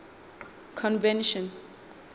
convention